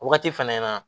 Wagati fɛnɛ na